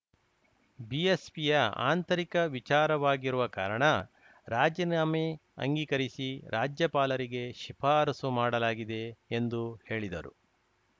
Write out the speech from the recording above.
ಬಿಎಸ್‌ಪಿಯ ಆಂತರಿಕ ವಿಚಾರವಾಗಿರುವ ಕಾರಣ ರಾಜೀನಾಮೆ ಅಂಗೀಕರಿಸಿ ರಾಜ್ಯಪಾಲರಿಗೆ ಶಿಫಾರಸು ಮಾಡಲಾಗಿದೆ ಎಂದು ಹೇಳಿದರು